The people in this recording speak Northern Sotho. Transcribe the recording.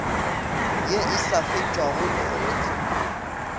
ye e sa fetšwago dikgorotshekong